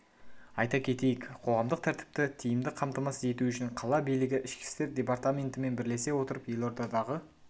айта кетейік қоғамдық тәртіпті тиімді қамтамасыз ету үшін қала билігі ішкі істер департаментімен бірлесе отырып елордадағы